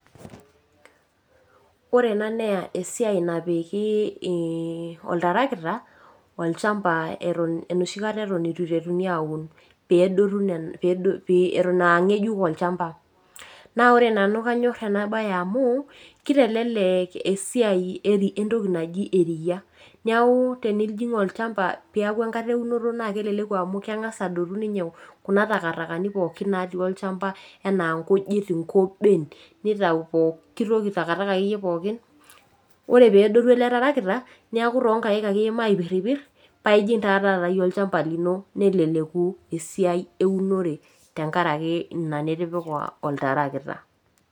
Orena naa esiai napiki ii oltarakita olchamba eton enoshikata eton eitu eiteruni aun peedotu nena , eton [aa] ng'ejuk olchamba. Naa ore nanu kanyorr enabaye amuu keiteleleek esiai entoki naji eriya. Neaku tenijing' olchamba peeaku enkata eunoto naake eleleku amu keng'as adotu ninye kuna takatakani pooki naatii olchamba enaa nkujit, nkoben, neitau pooki toki  takataka akeiye pooki. Ore peedotu ele tarakita neaku toonkaik ake iimaa aipirripirr paaijing' taa taata iyie olchamba lino neleleku esiai eunore tengaraki ina nitipika oltarakita.